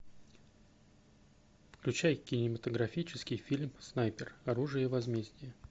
включай кинематографический фильм снайпер оружие возмездия